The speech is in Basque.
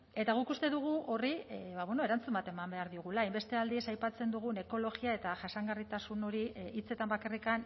eta guk uste dugu horri erantzun bat eman behar diogula hainbeste aldiz aipatzen dugun ekologia eta jasangarritasun hori hitzetan bakarrik